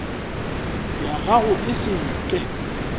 ya gago e se ke